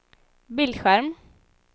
bildskärm